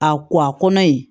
A ko a kɔnɔ yen